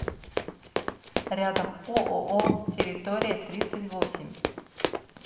рядом ооо территория тридцать восемь